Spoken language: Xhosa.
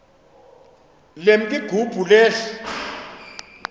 lemk igubu lehl